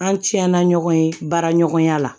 An tiɲɛna ɲɔgɔn ye baara ɲɔgɔnya la